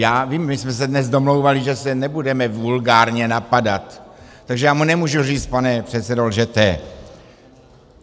Já vím, my jsme se dnes domlouvali, že se nebudeme vulgárně napadat, takže já mu nemůžu říct: Pane předsedo, lžete.